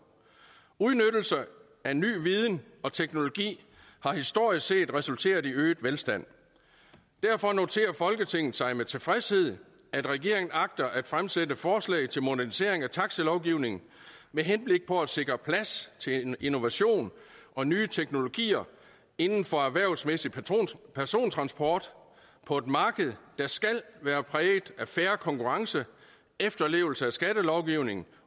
udnyttelse af ny viden og teknologi har historisk set resulteret i øget velstand derfor noterer folketinget sig med tilfredshed at regeringen agter at fremsætte forslag til modernisering af taxilovgivningen med henblik på at sikre plads til innovation og nye teknologier inden for erhvervsmæssig persontransport på et marked der skal være præget af fair konkurrence efterlevelse af skattelovgivningen